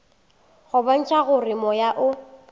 go bontšha gore moya o